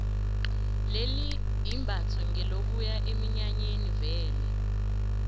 leli imbatho ngelokuya eminyanyeni vele